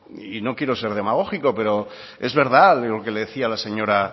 y no quiero ser demagógico pero es verdad lo que le decía la señora